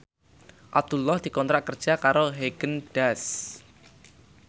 Abdullah dikontrak kerja karo Haagen Daazs